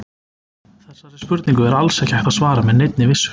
Þessari spurningu er alls ekki hægt að svara með neinni vissu.